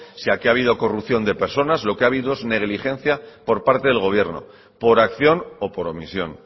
si aquí ha habido corrupción de personas lo que ha habido es negligencia por parte del gobierno por acción o por omisión